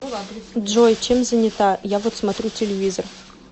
джой чем занята я вот смотрю телевизор